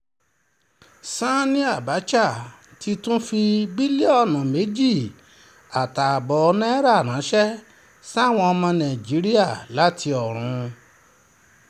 sanni abcha ti tún fi bílíọ̀nù méjì àtààbọ̀ náírà ránṣẹ́ sáwọn ọmọ nàìjíríà láti ọ̀run